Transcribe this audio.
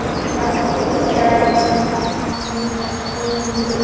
Kjarasamningar á vinnumarkaði losna eftir viku